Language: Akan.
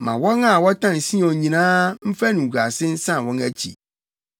Ma wɔn a wɔtan Sion nyinaa mfa animguase nsan wɔn akyi.